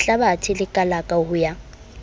lehlabathe le kalaka ho ya